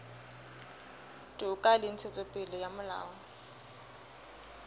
toka le ntshetsopele ya molao